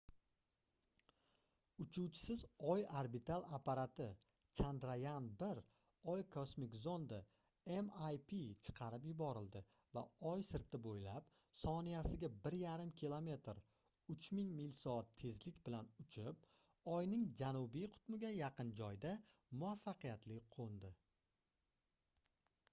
uchuvchisiz oy orbital apparati chandrayaan-1 oy kosmik zondi mip chiqarib yuborildi va oy sirti bo'ylab soniyasiga 1,5 km 3000 mil/soat tezlik bilan uchib oyning janubiy qutbiga yaqin joyda muvaffaqiyatli qo'ndi